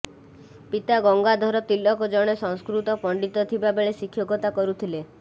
ପିତା ଗଙ୍ଗାଧର ତିଲକ ଜଣେ ସଂସ୍କୃତ ପଣ୍ଡିତ ଥିବା ବେଳେ ଶିକ୍ଷକତା କରୁଥିଲେ